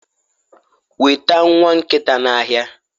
weta nwa nkita n'ahịa